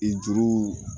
I juru